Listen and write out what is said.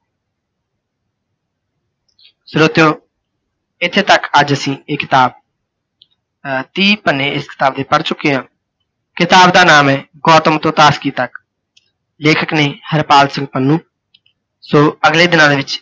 ਸਰੋਤਿਓਂ ਇੱਥੇ ਤੱਕ ਅੱਜ ਅਸੀਂ ਇਹ ਕਿਤਾਬ, ਅਅਹ ਤੀਹ ਪੰਨੇ ਇਸ ਕਿਤਾਬ ਦੇ ਪੜ੍ਹ ਚੁੱਕੇ ਹਾਂ। ਕਿਤਾਬ ਦਾ ਨਾਮ ਹੈ ਗੌਤਮ ਤੋਂ ਤਾਸਕੀ ਤੱਕ, ਲੇਖਕ ਨੇ ਹਰਪਾਲ ਸਿੰਘ ਪੰਨੂ, ਸੋ ਅਗਲੇ ਦਿਨਾਂ ਦੇ ਵਿੱਚ